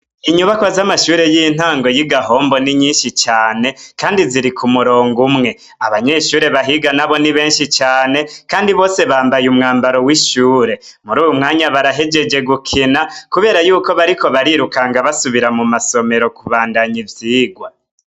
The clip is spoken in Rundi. Inyubakwa z'amashure y'intango y'i Gahombo ni nyinshi cane kandi ziri ku murongo umwe, abanyeshure bahiga nabo ni benshi cane kandi bose bambaye umwambaro w'ishure, muri uwu mwanya barahejeje gukina kubera yuko bariko barirukanga basubira mu masomero kubandanya ivyigwa.